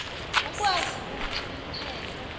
ukwazi ukuthi umthetho